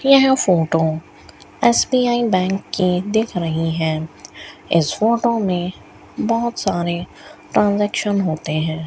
यह photo SBI bank की दिख रही है इस फोटो में बहोत सारे ट्रांजैक्शन होते हैं।